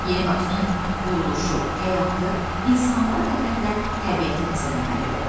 Yeni Bakının quruluşu, həyatı, insanlara qədər də təbiəti təzələnməlidir.